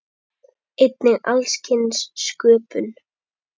Einnig alls kyns sköpun.